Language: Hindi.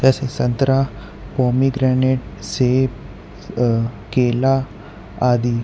ऐसे संतरा पोमीग्रेनेट सेब अ केला आदि।